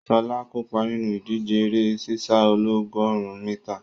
Ṣọlá kópa nínú ìdíje eré sísá ọlọ́gọ̀rún mítà.